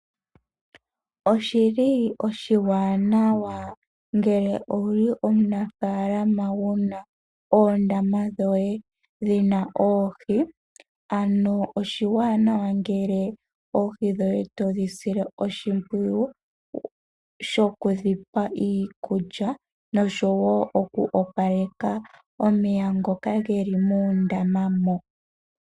Oshiwanawa ngele owu li omunafaalama wu na oondama dhoye dhi na oohi. Oshiwanawa ngele oohi dhoye to dhi sile oshimpwiyu shokudhi pa iikulya noshowo okuopaleka omeya ngoka ge li mondaama moka.